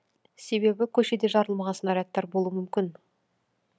себебі көшеде жарылмаған снарядтар болуы мүмкін